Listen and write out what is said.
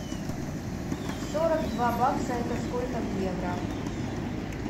сорок два бакса это сколько в евро